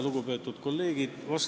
Lugupeetud kolleegid!